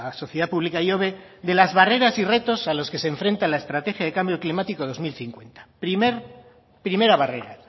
sociedad pública ihobe de las barreras y retos a los que se enfrenta la estrategia de cambio climático dos mil cincuenta primera barrera